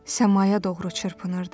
Səmaya doğru çırpınırdı.